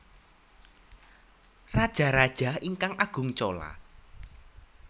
Rajaraja ingkang Agung Chola